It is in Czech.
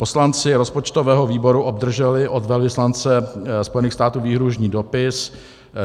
Poslanci rozpočtového výboru obdrželi od velvyslance Spojených států výhrůžný dopis.